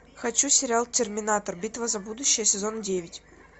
хочу сериал терминатор битва за будущее сезон девять